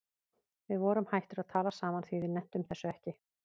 Við vorum hættir að tala saman því við nenntum þessu ekki.